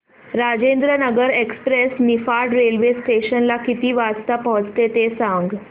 Rajendranagar express Niphad railway station ला किती वाजता पोहचते ते सांग